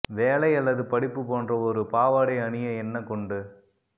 வேலை அல்லது படிப்பு போன்ற ஒரு பாவாடை அணிய என்ன கொண்டு